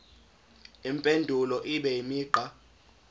impendulo ibe imigqa